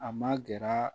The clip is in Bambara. A ma gɛrɛ